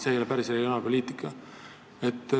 See ei ole päris regionaalpoliitika.